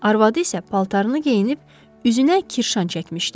Arvadı isə paltarını geyinib üzünə kirşan çəkmişdi.